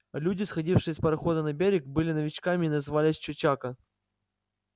люди сходившие с парохода на берег были новичками и назывались чечако